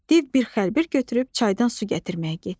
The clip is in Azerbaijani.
Div bir xəlbi götürüb çaydan su gətirməyə getdi.